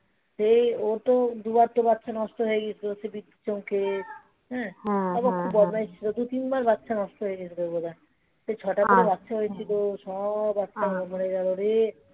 সে ও তো দুবার তো বাচ্চা নষ্ট হয়ে গেছে বিদ্যুত চমকে তারপরে একটু খুব বদমাইশি. দু তিনবার বাচ্চা নষ্ট হয়ে গেছিল বোধহয় সেই ছটা থেকে বাচ্চা হয়েছিল সব একটা একতা করে মরে গেলো রে.